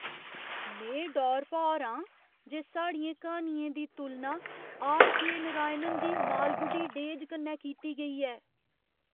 में डौर भौर आं जे साढ़ियें क्हानियें दी तुलना आर. के. नारायण दी मालगुडी डेज कन्नै कीती गेई ऐ!